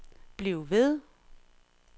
bliv ved